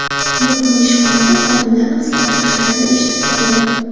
Bir kuni ishxonada xodimlarni qisqartirishlarini eshitib qoldim.